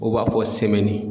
O b'a fɔ semɛni